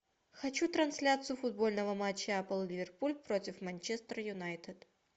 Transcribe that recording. хочу трансляцию футбольного матча апл ливерпуль против манчестер юнайтед